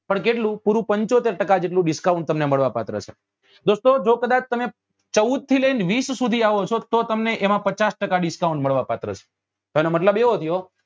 પણ કેટલું પૂરું પંચોતેર ટકા જેટલું discount મળવા પાત્ર છે દોસ્તો જો કદાચ તમે ચૌદ થી લઇ ને વીસ સુધી આવો છો તો તમને એમાં પાછા ટકા discount મળવા પાત્ર છે તો એનો મતલબ એવો થયો કે